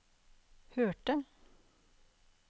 hørte